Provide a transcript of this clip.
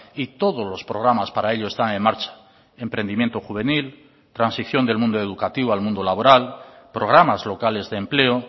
y todos los programas para ello están en marcha emprendimiento juvenil transición del mundo educativo al mundo laboral programas locales de empleo